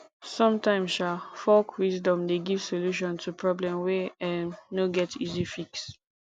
somtimes um folk wisdom dey give solution to problem wey um no get easy fix